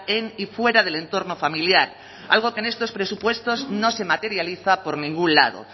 en y fuera del entorno familiar algo que en estos presupuestos no se materializa por ningún lado